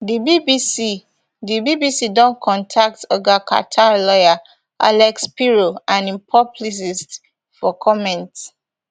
di bbc di bbc don contact oga carter lawyer alex spiro and im publicist for comment